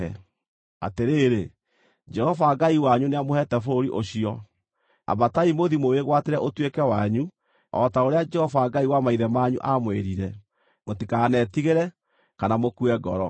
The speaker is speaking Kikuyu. Atĩrĩrĩ, Jehova Ngai wanyu nĩamũheete bũrũri ũcio. Ambatai mũthiĩ mũwĩgwatĩre ũtuĩke wanyu, o ta ũrĩa Jehova Ngai wa maithe manyu aamwĩrire. Mũtikanetigĩre; kana mukue ngoro.”